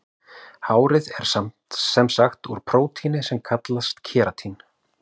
Hárið er sem sagt úr prótíni sem kallast keratín.